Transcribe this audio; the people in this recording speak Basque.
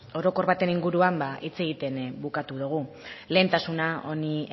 orokor baten inguruan hitz egiten bukatu dugu lehentasuna honi